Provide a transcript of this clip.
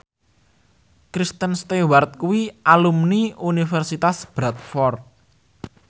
Kristen Stewart kuwi alumni Universitas Bradford